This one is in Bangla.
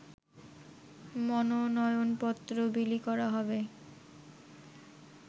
মনোনয়নপত্র বিলি করা হবে